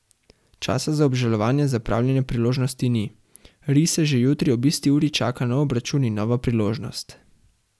Časa za obžalovanje zapravljene priložnosti ni, rise že jutri ob isti uri čaka nov obračun in nova priložnost.